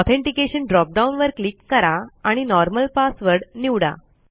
authentication drop down वर click करा आणि नॉर्मल पासवर्ड निवडा